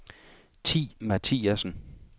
Thi Mathiasen